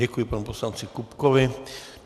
Děkuji panu poslanci Kupkovi.